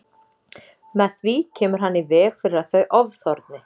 Með því kemur hann í veg fyrir að þau ofþorni.